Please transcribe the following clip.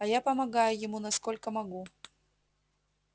а я помогаю ему насколько могу